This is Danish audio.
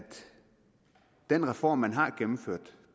den reform man har gennemført